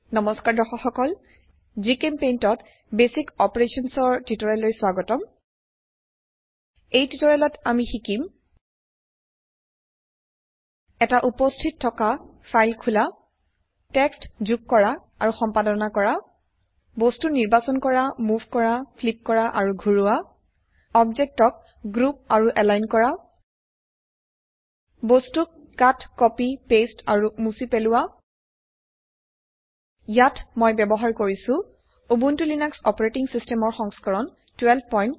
নমস্কাৰ দৰ্শক সকল জিচেম্পেইণ্ট ত বেচিক অপাৰেশ্যনছ ৰ টিউটোৰিয়েললৈ স্বাগতম এই টিউটোৰিয়েলত আমি শিকিম এটা উপস্থিত থাকা ফাইল খুলা টেক্সট যোগ কৰা আৰু সম্পাদনা কৰা বস্তু নিৰ্বাচন কৰা মোভ কৰা ফ্লিপ কৰা আৰু ঘোৰোৱা অবজেক্টক গ্ৰুপ আৰু এলাইন কৰা বস্তুক কাট কপি পেস্ট আৰু মুছি পেলোৱা ইয়াত মই ব্যবহাৰ কৰিছো উবুন্টু লিনাক্স অপাৰেটিং সিস্টেমৰ সংস্কৰণ 1204